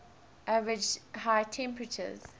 average high temperatures